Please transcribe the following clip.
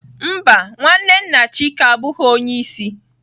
Mba, nwanne nna chike abụghị onye isi